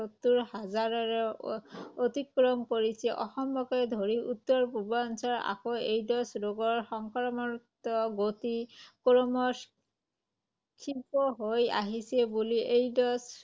সত্তৰ হজাৰৰো অতিক্ৰম কৰিছে। অসমকে ধৰি উত্তৰ পূৰ্বাঞ্চলত আকৌ এইড্‌ছ ৰোগৰ সংক্ৰমণিত গতি ক্ৰমশঃ ক্ষীপ্ৰ হৈ আহিছে বুলি এইড্‌ছ